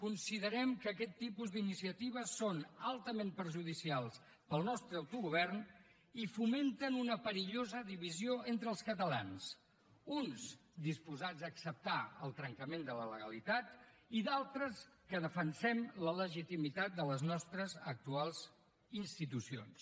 considerem que aquest tipus d’iniciatives són altament perjudicials per al nostre autogovern i fomenten una perillosa divisió entre els catalans uns disposats a acceptar el trencament de la legalitat i d’altres que defensem la legitimitat de les nostres actuals institucions